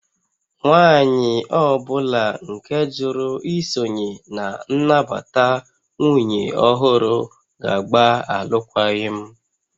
Nwanyị ọ bụla nke jụrụ isonye na nnabata nwunye ọhụrụ ga-agba alụkwaghịm